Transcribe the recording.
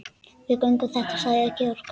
Við göngum þetta sagði Georg.